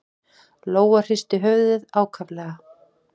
Lóa hristi höfuðið ákaflega.